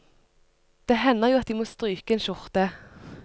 Det hender jo at de må stryke en skjorte.